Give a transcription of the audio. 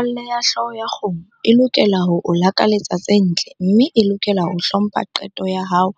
Metswalle ya hlooho ya kgomo e lokela ho o lakaletsa tse ntle mme e lokela ho hlompha qeto ya hao